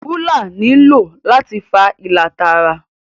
Rúlà ní ló láti fà ìlà Tààrà